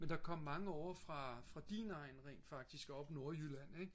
men der kom mange ovre fra din egn rent faktisk oppe nordjylland ik